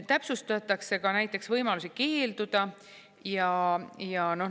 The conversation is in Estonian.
Täpsustatakse ka näiteks võimalusi keelduda.